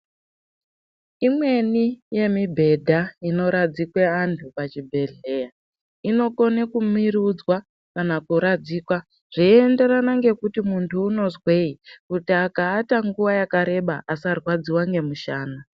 Imweni yemi bhedha inoradzikwe antu pachibhedhlera inokone kumurudzwa kana kuradzikwa zveiyenderana ngekuti muntu unozwei kuti akaata nguwa yakareba asarwadziwa ngemushana.